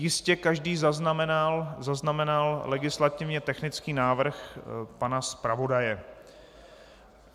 Jistě každý zaznamenal legislativně technický návrh pana zpravodaje.